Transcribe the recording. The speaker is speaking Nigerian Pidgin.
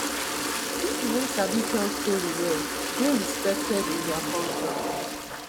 pipo wey sabi tell story well dey respected in many cultures